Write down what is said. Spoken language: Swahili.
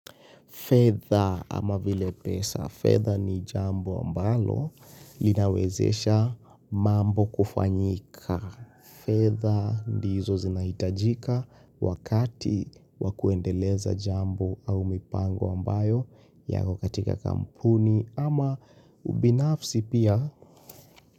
Fedha ama vile pesa. Fedha ni jambo ambalo linawezesha mambo kufanyika. Fedha ndizo zinahitajika wakati wakuendeleza jambo au mipango ambayo yakokatika kampuni ama ubinafsi pia.